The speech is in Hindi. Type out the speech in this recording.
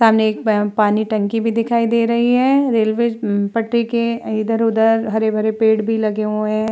सामने एक पानी टंकी भी दिखाई दे रही हैं। रेलवे पटरी के अ इधर-उधर हरे-भरे पेड़ भी लगे हुए हैं।